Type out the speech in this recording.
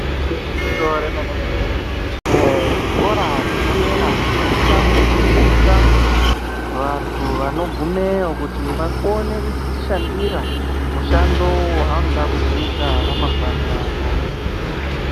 Igwinyiso remene mene eee zvikora zvepadera zvinosisa kufundisa vantu vano gumeyo kuti vakone kuzo zvishandira mushando waanoda kuzoita ramangwani ravo.